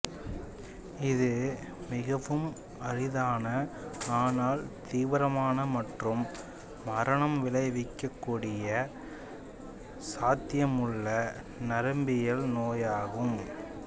இது மிகவும் அரிதான ஆனால் தீவிரமான மற்றும் மரணம் விளைவிக்கக் கூடிய சாத்தியமுள்ள நரம்பியல் நோயாகும்